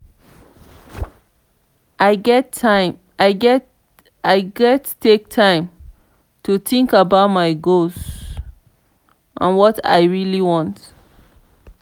i gats take time to think about my goals and what i really want.